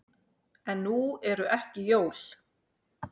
En nú eru ekki jól.